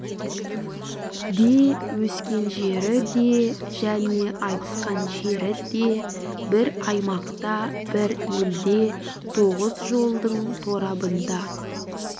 де өскен жері де және айтысқан жері де бір аймақта бір елде тоғыз жолдың торабында